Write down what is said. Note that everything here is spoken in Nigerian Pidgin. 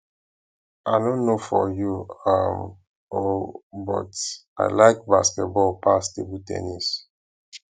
i no know for you um oo but i like basketball pass table ten nis